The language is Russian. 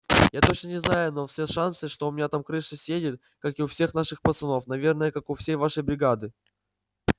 я точно не знаю но все шансы что у меня там крыша съедет как и у всех наших пацанов наверное как у всей вашей бригады